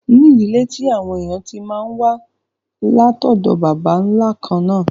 ní ìdílé tí àwọn èèyàn tí máa n wá látọ̀dọ̀ bàbá nla kànnà